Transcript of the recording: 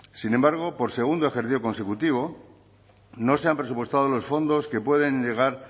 sin embargo por segundo ejercicio consecutivo no se han presupuestado los fondos que pueden llegar